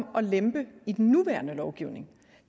lempe i den nuværende lovgivning